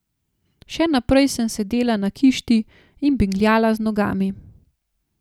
Še naprej sem sedela na kišti in bingljala z nogami.